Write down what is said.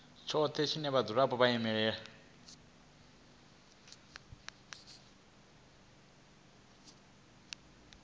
tshothe na vhadzulapo na vhaimeleli